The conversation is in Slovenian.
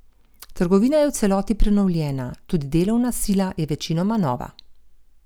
Trgovina je v celoti prenovljena, tudi delovna sila je večinoma nova.